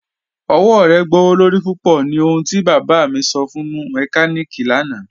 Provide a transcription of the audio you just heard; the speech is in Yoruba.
Ọwọ̀ rẹ gbọwọ́lorí púpọ̀ ni ohùn ti bába mi sọ̀ fún mẹ́kàníkí lànà.